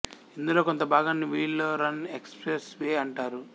ఇందులో కొంత భాగాన్ని విల్లో రన్ ఎక్స్ప్రెస్ వే అంటారు